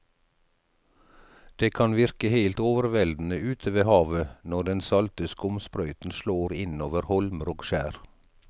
Det kan virke helt overveldende ute ved havet når den salte skumsprøyten slår innover holmer og skjær.